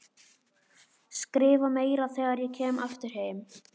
Skrifa meira þegar ég kem aftur heim.